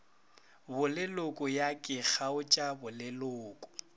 boleloko ya ke kgaotša boleloko